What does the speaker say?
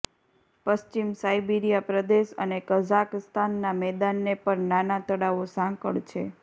પશ્ચિમ સાઇબિરીયા પ્રદેશ અને કઝાકસ્તાન ના મેદાનને પર નાના તળાવો સાંકળ છે